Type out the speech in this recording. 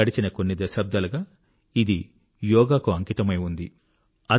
గడచిన కొన్ని దశాబ్దాలుగా ఇది యోగా కు అంకితమై ఉంది